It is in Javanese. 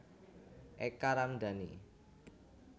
Eka Ramdani